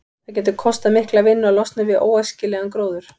Það getur kostað mikla vinnu að losna við óæskilegan gróður.